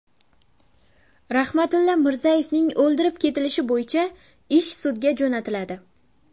Rahmatilla Mirzayevning o‘ldirib ketilishi bo‘yicha ish sudga jo‘natiladi.